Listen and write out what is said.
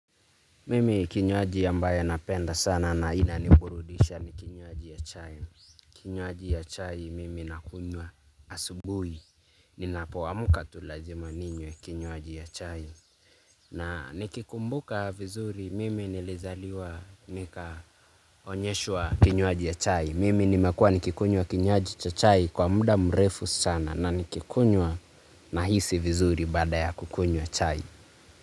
Mimi kinywaji ambaye napenda sana na inaniburudisha ni kinywaji ya chai. Kinywaji ya chai mimi nakunywa asubuhi. Ninapo amka tu lazima ninywe kinywaji ya chai. Na nikikumbuka vizuri mimi nilizaliwa nikaonyeshwa kinywaji ya chai. Mimi nimekuwa nikikunywa kinywaji cha chai kwa muda mrefu sana. Na nikikunywa nahisi vizuri baada ya kukunywa chai.